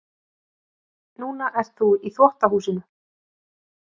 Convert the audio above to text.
Núna ert þú í þvottahúsinu.